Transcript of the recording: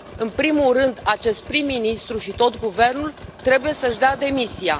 În primul rând, acest prim ministru și tot guvernul trebuie să și dea demisia.